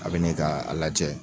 A bi n'i k'a lajɛ